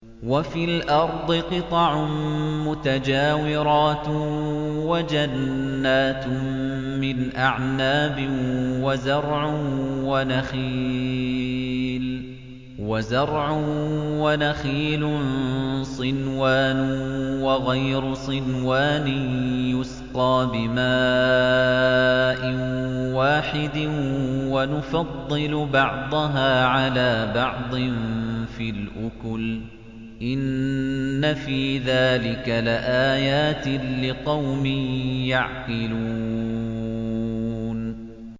وَفِي الْأَرْضِ قِطَعٌ مُّتَجَاوِرَاتٌ وَجَنَّاتٌ مِّنْ أَعْنَابٍ وَزَرْعٌ وَنَخِيلٌ صِنْوَانٌ وَغَيْرُ صِنْوَانٍ يُسْقَىٰ بِمَاءٍ وَاحِدٍ وَنُفَضِّلُ بَعْضَهَا عَلَىٰ بَعْضٍ فِي الْأُكُلِ ۚ إِنَّ فِي ذَٰلِكَ لَآيَاتٍ لِّقَوْمٍ يَعْقِلُونَ